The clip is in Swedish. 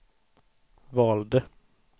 valde